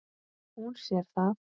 Hún sér það.